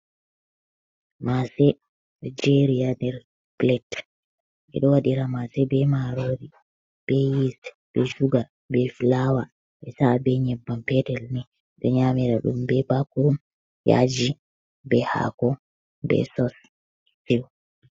Mase ɓe jeri nder plat ɓe ɗo waɗira mase be marori be yis be chuga be flawa be sa'a be nyebbam petel ni do nyamira dum be bakuru yajji be hako be sous